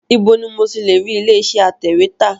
Ibo ni mo ti lè rí ilé iṣẹ́ atẹ̀wẹ́tà?